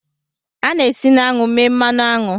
A na-esi na aṅụ mee mmanụ aṅụ